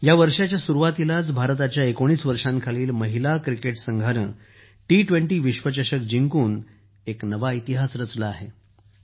या वर्षाच्या सुरुवातीला भारताच्या 19 वर्षांखालील महिला क्रिकेट संघाने टी२० विश्वचषक जिंकून नवा इतिहास रचला आहे